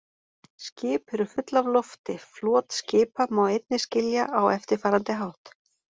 Skip eru full af lofti Flot skipa má einnig skilja á eftirfarandi hátt.